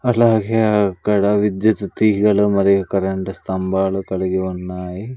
అలాగే అక్కడ విద్యుత్తు తీగలు మరియు కరెంట్ స్తంభాలు కలిగి ఉన్నాయి.